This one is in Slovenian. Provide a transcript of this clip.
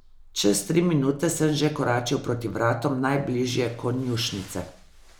Čez tri minute sem že koračil proti vratom najbližje konjušnice.